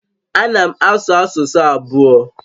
A na m asụ asụsụ abụọ